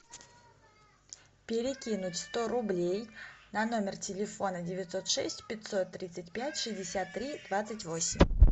перекинуть сто рублей на номер телефона девятьсот шесть пятьсот тридцать пять шестьдесят три двадцать восемь